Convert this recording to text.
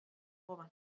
Ber að ofan.